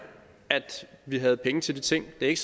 at vi havde penge til de ting det er ikke